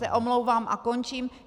Já se omlouvám a končím.